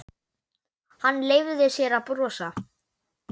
Hann leyfði sér að brosa.